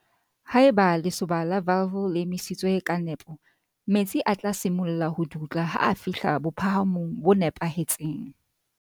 Haeba lesoba la valve le emisitswe ka nepo, metsi a tla simolla ho dutla ha a fihla bophahamong bo nepahetseng.